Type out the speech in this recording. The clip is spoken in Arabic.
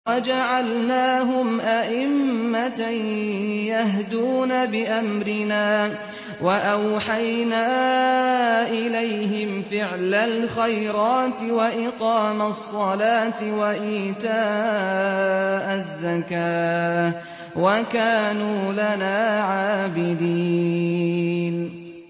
وَجَعَلْنَاهُمْ أَئِمَّةً يَهْدُونَ بِأَمْرِنَا وَأَوْحَيْنَا إِلَيْهِمْ فِعْلَ الْخَيْرَاتِ وَإِقَامَ الصَّلَاةِ وَإِيتَاءَ الزَّكَاةِ ۖ وَكَانُوا لَنَا عَابِدِينَ